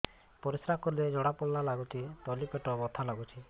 ପରିଶ୍ରା କଲେ ଜଳା ପୋଡା ଲାଗୁଚି ତଳି ପେଟ ବଥା ଲାଗୁଛି